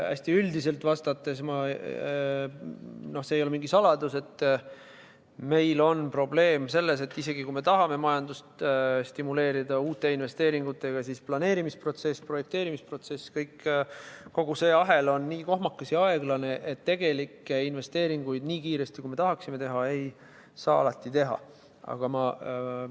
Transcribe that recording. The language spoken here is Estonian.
Hästi üldiselt vastates, see ei ole mingi saladus, et meil on probleem selles, et isegi kui me tahame majandust uute investeeringutega stimuleerida, siis planeerimisprotsess, projekteerimisprotsess – kogu see ahel – on nii kohmakas ja aeglane, et tegelikke investeeringuid nii kiiresti, kui me tahaksime teha, alati teha ei saa.